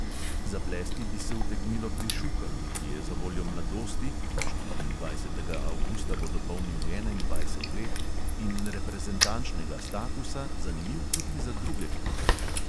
Zaplesti bi se utegnilo pri šukalu, ki je zavoljo mladosti (štiriindvajsetega avgusta bo dopolnil enaindvajset let) in reprezentančnega statusa zanimiv tudi za druge klube.